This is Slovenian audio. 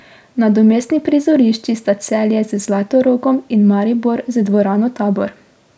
Nadomestni prizorišči sta Celje z Zlatorogom in Maribor z dvorano Tabor.